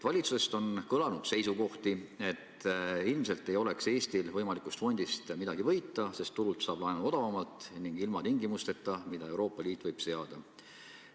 Valitsusest on kõlanud seisukohti, et ilmselt ei oleks Eestil võimalikust fondist midagi võita, sest turult saab laenu odavamalt ning ilma tingimusteta, mida Euroopa Liit võib seada.